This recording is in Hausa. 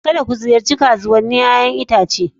Kada ku ziyarci kasuwannin 'ƴa'ƴan itace!